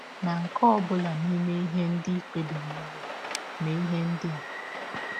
Na nke ọ bụla n’ime ihe ndị i kpebiri ime, mee ihe ndị a: